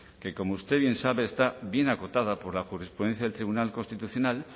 que como usted bien sabe está viene acotada por la jurisprudencia del tribunal constitucional